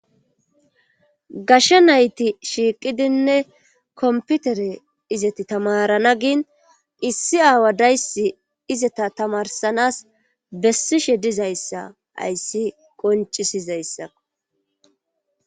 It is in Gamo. Gashe nayti shiiqidinne komppitere izati tamaarana gin issi aawa dayssi izata tamarssannas bessishje dizayssa hayssi qonccisizayssa.